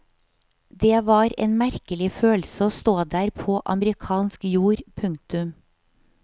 Det var en merkelig følelse å stå der på amerikansk jord. punktum